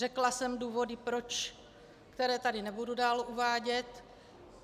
Řekla jsem důvody proč, které tady nebudu dále uvádět.